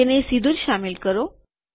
તેને સીધુ જ શામેલ કરો